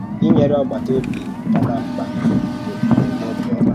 Ínyere ọ̀gbàtà-òbí nọ n’á mkpa àkà bụ omume ọ̀bịọ́mà.